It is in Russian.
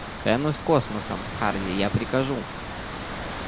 клянусь космосом харди я прикажу